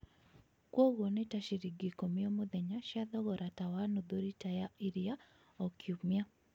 kũoguo nĩ ta ciringi ikũmi O mũthenya cia thogora tawa nuthu rita ya iria O kiumĩa.